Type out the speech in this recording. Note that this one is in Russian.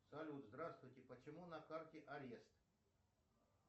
салют здравствуйте почему на карте арест